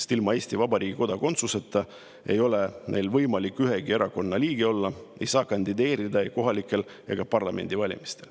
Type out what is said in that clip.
Ilma Eesti Vabariigi kodakondsuseta ei ole neil võimalik ühegi erakonna liige olla, nad ei saa kandideerida ei kohalikel ega parlamendivalimistel.